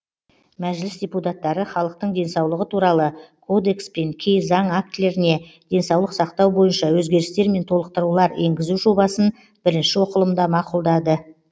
мәжіліс депутаттары халықтың денсаулығы туралы кодекс пен кей заң актілеріне денсаулық сақтау бойынша өзгерістер мен толықтырулар енгізу жобасын бірінші оқылымда мақұлдады